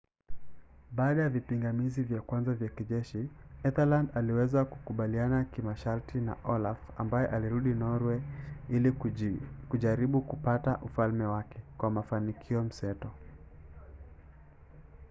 baada ya vipingamizi vya kwanza vya kijeshi ethelred aliweza kukubaliana kimasharti na olaf ambaye alirudi norwe ili kujaribu kupata ufalme wake kwa mafanikio mseto